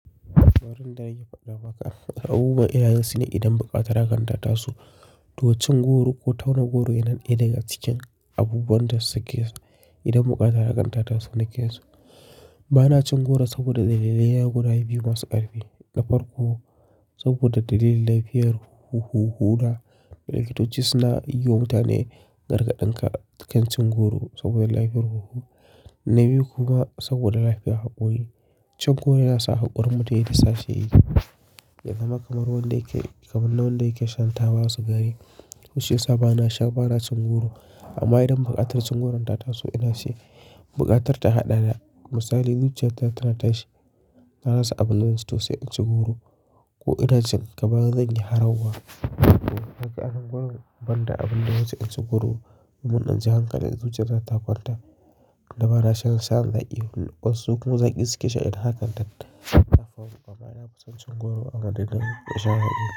Wurin da nake faɗa maka. Abubuwan ina yinsu ne idan bukatar hakan ta taso. Tuwon cingo ru ko tauna goro yana ɗaya daga cikin abubuwan da suke so idan bukata rakanta tasu nake so. Ba na cin goro saboda dalilai guda biyu masu ƙarfi. Na farko, saboda dalilin lafiyar huhu, huna da likitoci suna yi wa mutane gargaɗi kan cin goro saboda lafiyar huhu. Na biyu kuma saboda lafiyar haƙori. Cin goro yana sa haƙorin mutum yayi sashi yayi. Ya zama kamar wanda yake kamar na wanda yake shan taba masu gari. Mushe sa ba na sha, ba na cin goro amma idan buƙatar cin goron ta tasu ina shi. Buƙatar ta haɗa da misali zuciyar ta tana tashi, ta rasa abin da zai tusi in ci goro ko ina cin gaba zan yi harwar. Haka an goro banda abin da zai ci goro. Mun ɗan ji hankali zuciyar za ta kwanta da ba na shan sha na yi. Wasu kuma zai ƙi suke sha idan haka ta tattafa kuma yana fusan cin goro amma dalilin sha'ani.